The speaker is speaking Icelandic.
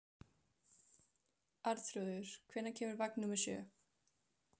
Allt í einu kvað við hár smellur frá hlaðinu.